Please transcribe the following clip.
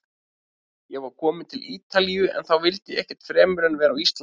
Ég var kominn til Ítalíu- en þá vildi ég ekkert fremur en vera á Íslandi.